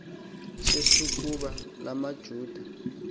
sesokuba la majuda